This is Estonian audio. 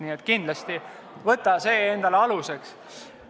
Nii et kindlasti võta see endale aluseks.